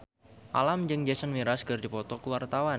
Alam jeung Jason Mraz keur dipoto ku wartawan